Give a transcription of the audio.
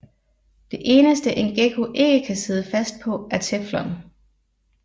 Det eneste en gekko ikke kan sidde fast på er teflon